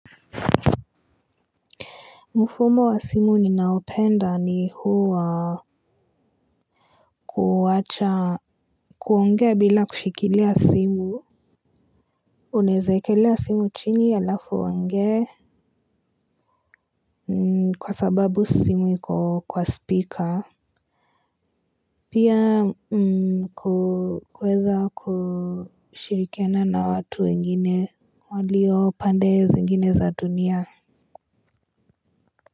Mfumo wa simu ninaopenda ni huu wa kuacha kuongea bila kushikilia simu. Unaweza wekelea simu chini halafu uongee. Kwa sababu simu iko kwa speaker. Pia kuweza kushirikiana na watu wengine walio pande zingine za dunia.